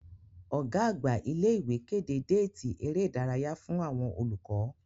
Ọ̀gá-àgbà ilé ìwé kéde déètì ère ìdárayá fún àwọn olùkọ́.